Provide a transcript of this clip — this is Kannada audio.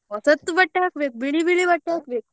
ಹೊಸತ್ತು ಬಟ್ಟೆ ಹಾಕ್ಬೇಕು ಬಿಳಿ ಬಿಳಿ ಬಟ್ಟೆ ಹಾಕ್ಬೇಕು.